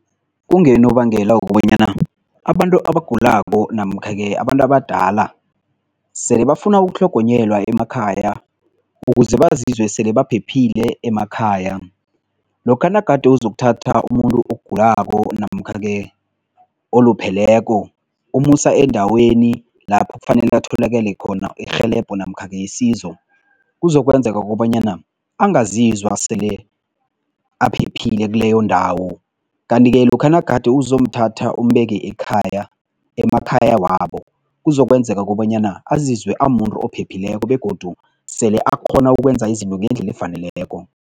Kungenobangela wokobanyana abantu abagulako namkha-ke abantu abadala sele bafuna ukutlhogonyelwa emakhaya ukuze bazizwe sele baphephile emakhaya. Lokha nagade uzokuthatha umuntu ogulako namkha-ke olupheleko, umusa eendaweni lapho kufanele atholakale khona irhelebho namkha-ke isizo kuzokwenzeka kobanyana angizizwa sele aphephile kuleyo ndawo kanti-ke lokha nagade izomthatha umbeke ekhaya, emakhaya wabo, kuzokwenzeka kobanyana azizwe amuntu ophephileko begodu sele akghona ukwenza izinto ngendlela efaneleko.